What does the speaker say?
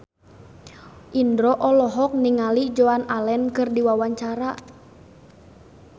Indro olohok ningali Joan Allen keur diwawancara